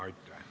Aitäh!